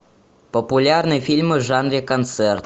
популярные фильмы в жанре концерт